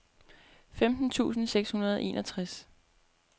femten tusind seks hundrede og enogtres